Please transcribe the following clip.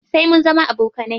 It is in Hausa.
Sai mun zama abokanai.